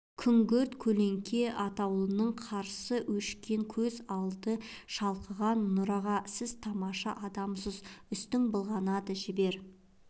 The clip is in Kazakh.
күңгірт көлеңке атаулының қарасы өшкен көз алды шалқыған нұр аға сіз тамаша адамсыз үстің былғанады жібер